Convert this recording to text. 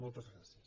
moltes gràcies